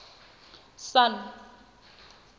sun